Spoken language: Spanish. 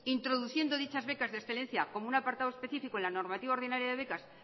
introduciendo dichas becas de excelencia como un apartado específico en la normativa ordinaria de becas